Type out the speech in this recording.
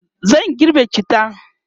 zan girbe cittan